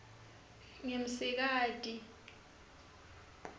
ngimsikati